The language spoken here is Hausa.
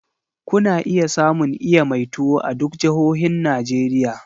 Kuna iya samun iya mai tuwo a duk jahohin Najeriya.